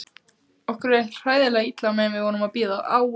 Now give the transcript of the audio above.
Okkur leið hræðilega illa meðan við vorum að bíða.